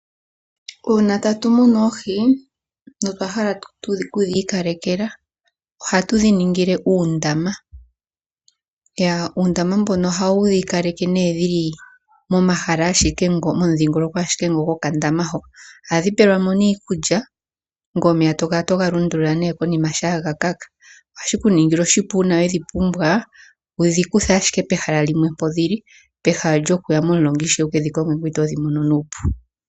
Uuna tatu munu oohi notwa hala oku dhi ikalekela ohatu dhi ningile uundama. Uundama mboka ohawu dhi kaleke dhi li momahala ashike momudhingoloko gokandama hoka. Ohadhi pelwa mo iikulya ngoye omeya to kala to ga lundulula konima shampa ga kaka. Ohashi ku ningile oshipu uuna we dhi pumbwa wu dhi kuthe ashike pehala limwe mpoka dhi li pehala lyoku ke dhi konga momulonga ngoye itoo dhi mono nuupu.